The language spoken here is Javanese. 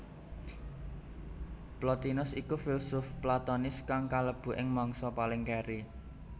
Plotinus iku filsuf platonis kang klebu ing mangsa paling kèri